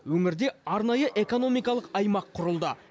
өңірде арнайы экономикалық аймақ құрылды